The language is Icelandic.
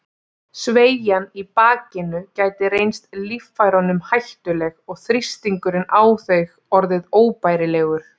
Sveigjan í bakinu gæti reynst líffærunum hættuleg og þrýstingurinn á þau orðið óbærilegur.